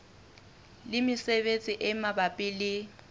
le mesebetsi e mabapi le